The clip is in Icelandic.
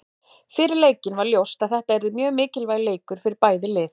Fyrir leikinn var ljóst að þetta yrði mjög mikilvægur leikur fyrir bæði lið.